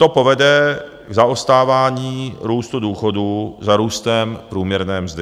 To povede k zaostávání růstu důchodů za růstem průměrné mzdy.